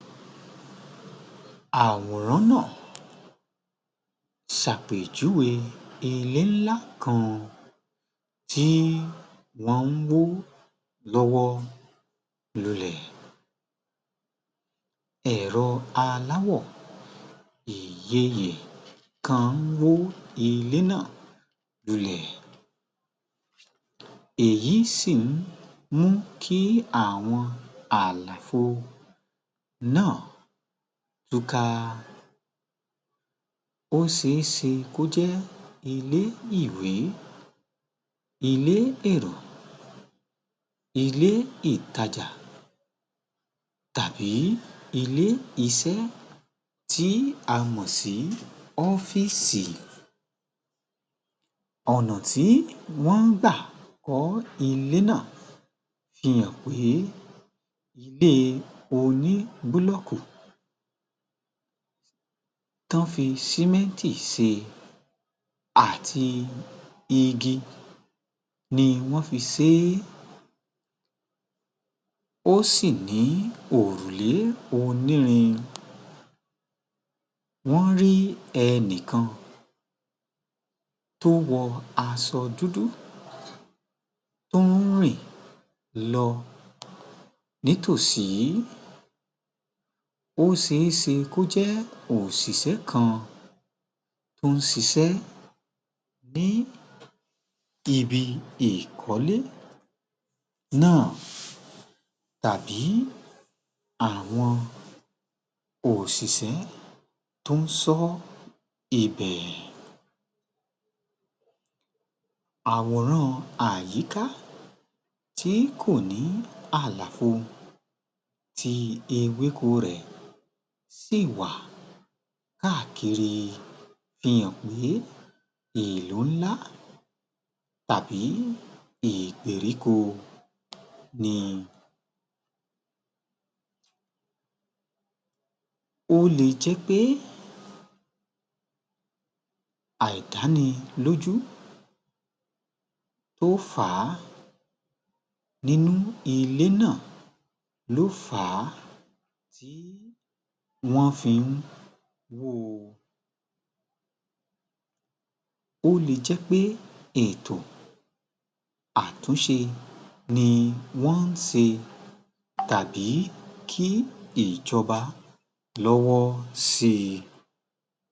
Àwòrán náà ṣàpèjúwe ilé ńlá kan tí wọ́n ń wó lọ́wọ́ lulẹ̀. Ẹro aláwò ìyeyè kan ń wó ilé náà lulẹ̀, èyí sì ń mú kí àwọn àlàfo náà túká. Ó ṣe é ṣe kó jẹ́ ilé-ìwé, ilé-èrò, ilé ìtajà tàbí ilè iṣẹ́ tí a mọ̀ sí ọ́fíìsì. Ọ̀nà tí wọ́n ń gbà kọ́ ilé náà fi hàn pé ilé oní búlọ́kù tí wọ́n fi símẹ́ǹtì ṣe àti igi ni wọ́n fi ṣe é, ó sì ní òrùlé onírin, wọ́n rí ẹni kan tó wọ aṣọ dúdú tó ń rìn lọ ní tòsí, ó ṣeéṣe kó jẹ́ òṣìṣẹ́ kan tó ń ṣiṣẹ́ ní ibi ìkọ́lé náà, tàbí àwọn òṣìṣẹ́ tó ń ṣọ́ ibẹ̀. Àwòrán àyìká tí kò ní àlàfo, tí ewéko rẹ̀ sì wà káàkiri fi hàn pé ìlú ńlá tàbí ìgbèríko ni. Ó le jẹ́ pé àìdánilójú ló fà á nínú ilé náà, ló fà á tí wọ́n fi ń wó o. Ò lé jẹ́ pé ètò àtúnṣe ni wọ́n ń ṣe tàbí kí ìjọba lọ́wọ́ sí i.